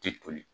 Tɛ toli